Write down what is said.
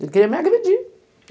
Ele queria me agredir.